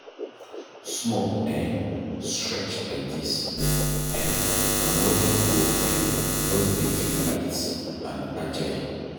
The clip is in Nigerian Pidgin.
Small um stretch like dis, um my body go um just dey feel light and agile.